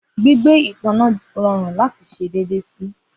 Gbigbe itanna jẹ rọrun lati ṣe deede si.